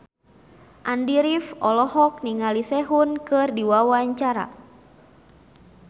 Andy rif olohok ningali Sehun keur diwawancara